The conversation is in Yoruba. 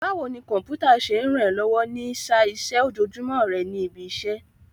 Báwo ni Kọ̀m̀pútà ṣe ń ràn ẹ́ lọ́wọ́ ní í sá iṣẹ́ ojoojúmọ́ rẹ ní ibi iṣẹ́?